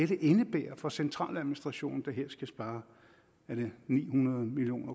det indebærer for centraladministrationen der her skal spare er det ni hundrede million